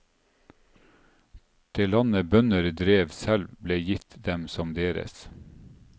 Det landet bønder drev selv, ble gitt dem som deres.